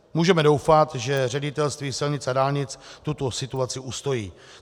Můžeme doufat, že Ředitelství silnic a dálnic tuto situaci ustojí.